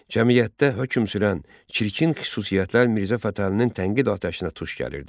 Cəmiyyətdə hökm sürən çirkin xüsusiyyətlər Mirzə Fətəlinin tənqid atəşinə tuş gəlirdi.